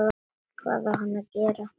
Hvað á hann að gera?